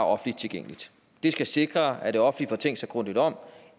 offentligt tilgængeligt det skal sikre at det offentlige får tænkt sig grundigt om